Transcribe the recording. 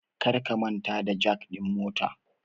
Karka manta da jak din motar